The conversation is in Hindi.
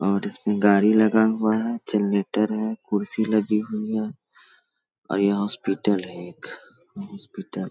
और इसमें गाड़ी लगा हुआ है जनरेटर हैं कुर्सी लगी हुई है। और ये हॉस्पिटल है एक ये हॉस्पिटल --